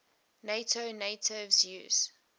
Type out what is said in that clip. nato navies use